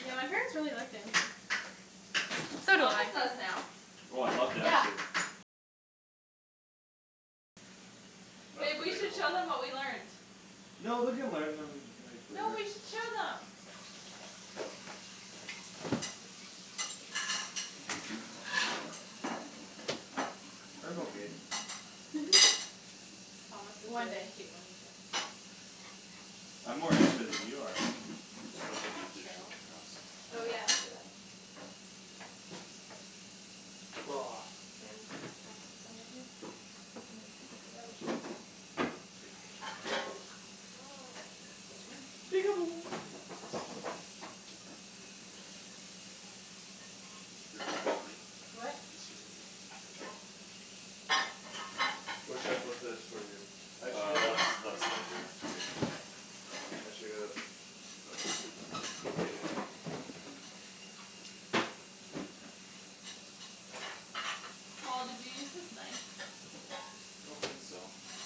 Yeah, my parents really like dancing. So do Thomas I. does now. Oh, I love Yeah. dancing. That's Babe, we should debatable. show them what we learned. No, we can learn them, like, No, later. we should show them. I'm okay. Thomas is One really day. cute when he dances. I'm more into it than you are. I'm gonna That's put not these dishes true. away and then just Oh, yeah, I'll do that. And, like, take it out. Get rid of that plate. What? Just get rid of that plate there. Where should I put this for you? I should Uh get left, a left side there. K. I should get a Paul, did you use this knife? I don't think so. Okay.